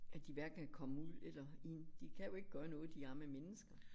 At de hverken kan komme ud eller ind de kan jo ikke gøre noget de arme mennesker